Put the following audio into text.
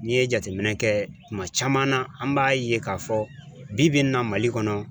N'i ye jateminɛ kɛ, tuma caman na, an b'a ye k'a fɔ bi bi in na mali kɔnɔ